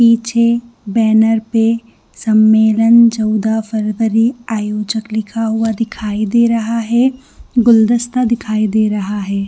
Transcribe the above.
पीछे बैनर पे सम्मेलन चोदा फेब्रुअरी आयोजक लिखा हुआ दिखाई दे रहा है गुलदस्ता दिखाई दे रहा है।